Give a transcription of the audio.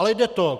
Ale jde to.